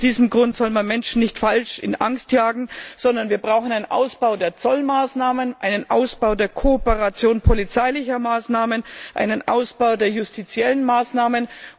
Aus diesem Grund soll man Menschen nicht falsch in Angst jagen, sondern wir brauchen einen Ausbau der Zollmaßnahmen, einen Ausbau der Kooperation polizeilicher Maßnahmen, einen Ausbau der justiziellen Maßnahmen.